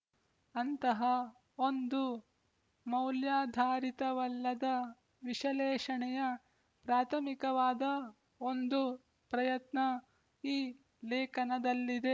ಅಂತಹ ಒಂದು ಮೌಲ್ಯಾಧಾರಿತವಲ್ಲದ ವಿಶಲೇಶಣೆಯ ಪ್ರಾಥಮಿಕವಾದ ಒಂದು ಪ್ರಯತ್ನ ಈ ಲೇಖನದಲ್ಲಿದೆ